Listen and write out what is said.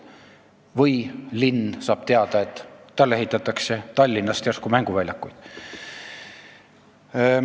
Või linn saab teada, et talle ehitatakse järsku mänguväljakuid.